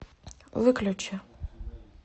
выключи